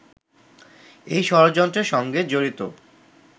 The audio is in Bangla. এই ষড়যন্ত্রের সঙ্গে জড়িত